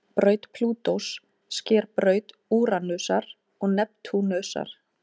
Braut Plútós sker braut Úranusar og Neptúnusar.